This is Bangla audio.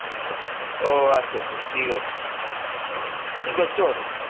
ও আচ্ছা আচ্ছা ঠিক আছে কি করছ বল?